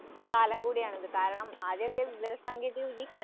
അതെയതെ